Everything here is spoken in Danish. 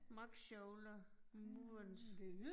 Mock shoulder movement